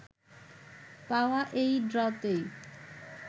পাওয়া এই ড্রতেই